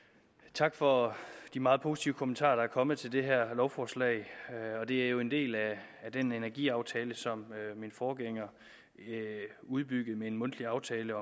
tak for de meget positive kommentarer der er kommet til det her lovforslag det er jo en del af den energiaftale som min forgænger udbyggede med en mundtlig aftale